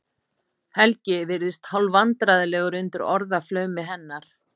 Helgi virðist hálfvandræðalegur undir orðaflaumi hennar.